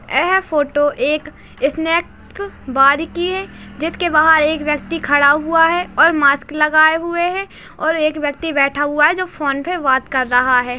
यह फोटो एक snack bar की है जिस के बाहर एक व्यक्ति खड़ा हुए है और मास्क लगाए हुए है और एक व्यक्ति बैठा हुए है जो फ़ोन पे बात कर रहा है।